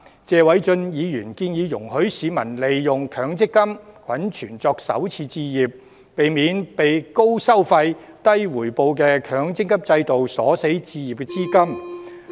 謝偉俊議員建議容許市民利用強積金滾存作首次置業，避免被高收費、低回報的強積金鎖死置業資金。